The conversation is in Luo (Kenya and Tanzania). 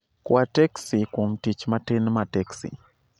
Kwa teksi kuom tich matin ma teksi